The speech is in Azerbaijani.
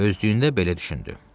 Özdüyündə belə düşündü: